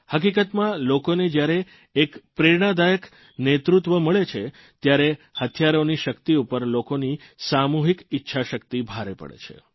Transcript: હકીકતમાં લોકોને જયારે એક પ્રેરણાદાયક નેતૃત્વ મળે છે ત્યારે હથિયારોની શક્તિ ઉપર લોકોની સામૂહીક ઇચ્છાશક્તિ ભારે પડે છે